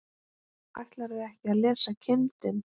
Ætlarðu ekki að lesa kindin?